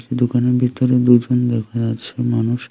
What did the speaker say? দোকানের ভিতরে দুজন দেখা যাচ্ছে মানুষ।